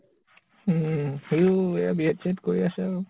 উম । সিও B. Ed. চি এদ কৰি আছে আৰু ।